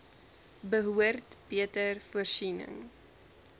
behoort beter voorsiening